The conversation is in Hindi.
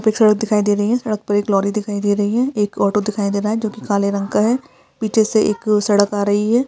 यहाँ पे एक सड़क दिखाई दे रही है सड़क पर एक लोरी दिखाई दे रही है एक ऑटो दिखाई दे रहा है जो कि काले रंग का है पीछे से एक सड़क आ रही है।